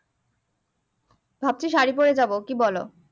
ভাবছি শাড়ী পরে যাবো কি বলো